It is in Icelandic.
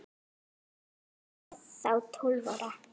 Hún var þá tólf ára.